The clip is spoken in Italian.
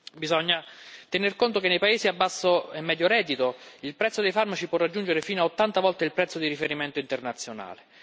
Bisogna tener conto che nei paesi a basso e medio reddito il prezzo dei farmaci può raggiungere fino a 80 volte il prezzo di riferimento internazionale.